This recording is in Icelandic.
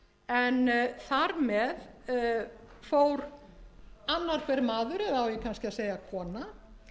annar hver maður eða á ég kannski að segja